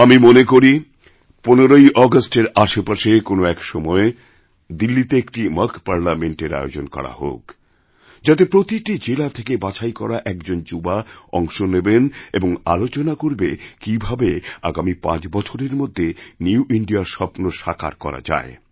আমি মনে করি ১৫ই আগস্টের আশেপাশে কোন এক সময়ে দিল্লিতেএকটি মকপার্লিয়ামেন্ট এর আয়োজন করা হোক যাতে প্রতিটি জেলা থেকে বাছাই করা একজন যুবা অংশ নেবেন ও আলোচনা করবে কীভাবে আগামী পাঁচ বছরের মধ্যে নিউ ইন্দিয়া রস্বপ্ন সাকার করা যায়